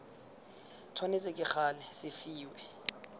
tshwanetse ka gale se fiwe